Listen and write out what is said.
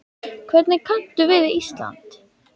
Hvernig kanntu við Ísland?